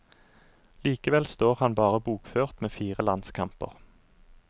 Likevel står han bare bokført med fire landskamper.